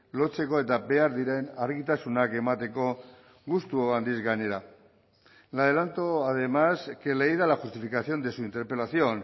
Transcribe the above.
lotzeko eta behar diren argitasunak emateko gustu handiz gainera le adelanto además que leída la justificación de su interpelación